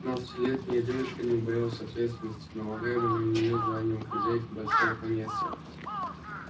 пятнадцатилетняя девочка не убоялась ответственности налагаемой на неё званием хозяйки большого поместья